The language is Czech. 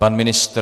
Pan ministr?